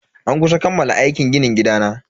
An kusa kammala aikin ginin gidana.